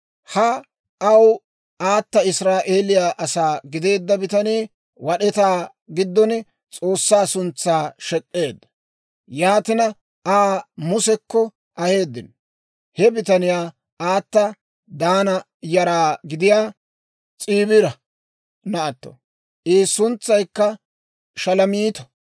Ha aw aata Israa'eeliyaa asaa gideedda bitanii wad'etaa giddon S'oossaa suntsaa shek'k'eedda. Yaatina Aa Musekko aheeddino. He bitaniyaa aata Daana yaraa gidiyaa S'iibira naatto. I suntsaykka Shalomiito.